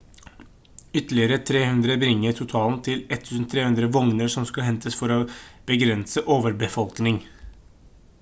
ytterligere 300 bringer totalen til 1300 vogner som skal hentes for å begrense overbefolkning